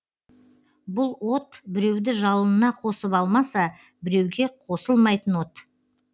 бұл от біреуді жалынына қосып алмаса біреуге қосылмайтын от